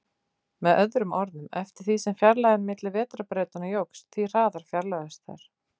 Með öðrum orðum, eftir því sem fjarlægðin milli vetrarbrautanna jókst, því hraðar fjarlægðust þær.